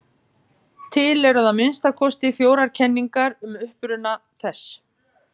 Til eru að minnsta kosti fjórar kenningar um uppruna þess.